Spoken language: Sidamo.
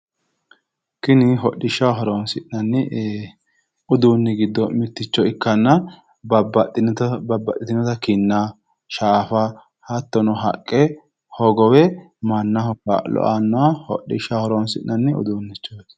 tini hodhishshaho horonsi'nanni uduunni giddo mitto ikkanna babbaxxinoha haqqeno ikko wolere hogophate horo aannoha hodhishshaho horonsi'nanniha uduunnichooti